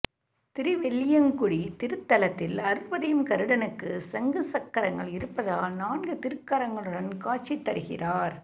திருவெள்ளியங்குடி திருத்தலத்தில் அருள்புரியும் கருடனுக்கு சங்கு சக்கரங்கள் இருப்பதால் நான்கு திருக்கரங்களுடன் காட்சி தருகிறார்